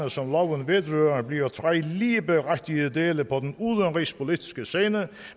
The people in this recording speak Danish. som loven vedrører bliver tre ligeberettigede dele på den udenrigspolitiske scene